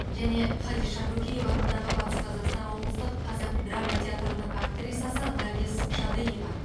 және хадиша бөкеева атындағы батыс қазақстан облыстық қазақ драма театрының актрисасы наргиз шадыева